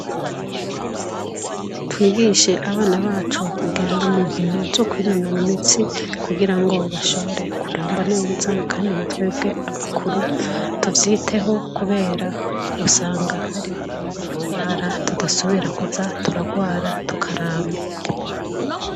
Twigishe abana bacu kugenda munkino zo kwinonara imitsi kugirango bashobore kuramba neza kandi natwebwe abakuru tuvyiteho kubera usanga hari ingwaragwara tudasubira kuza turagwara tukaramba.